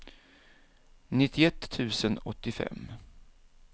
nittioett tusen åttiofem